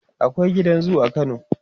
akwai gidan zoo a kano